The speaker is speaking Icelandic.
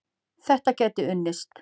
Þetta gæti unnist.